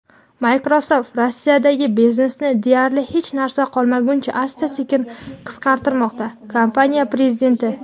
Microsoft Rossiyadagi biznesini deyarli hech narsa qolmaguncha asta-sekin qisqartirmoqda – kompaniya prezidenti.